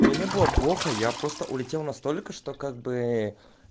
мне не было плохо я просто улетел настолько что как бы